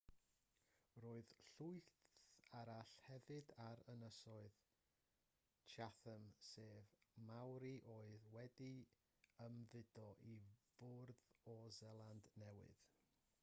roedd llwyth arall hefyd ar ynysoedd chatham sef maori oedd wedi ymfudo i ffwrdd o seland newydd